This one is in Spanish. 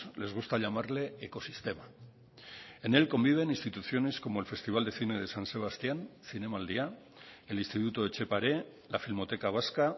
les gusta llamarle ecosistema en él conviven instituciones como el festival de cine de san sebastián zinemaldia el instituto etxepare la filmoteca vasca